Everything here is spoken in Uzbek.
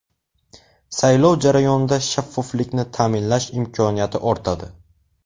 Saylov jarayonida shaffoflikni ta’minlash imkoniyati ortadi.